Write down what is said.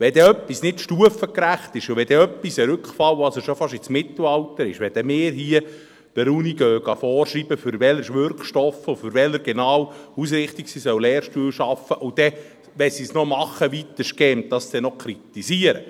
Wenn dann etwas nicht stufengerecht ist und wenn etwas schon fast ein Rückfall ins Mittelalter ist, wenn wir anfangen, der Uni vorzuschreiben, für welchen Wirkstoff und für welche genaue Ausrichtung sie Lehrstühle schaffen soll, und wenn sie es dann weitestgehend macht, dann noch kritisieren?